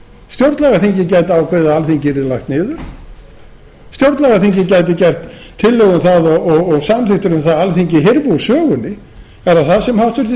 stjórnlagaþingið gæti ákveðið að alþingi yrði lagt niður stjórnlagaþingið gæti gert tillögur um það og samþykktir um það að alþingi hyrfi úr sögunni er það það sem háttvirtir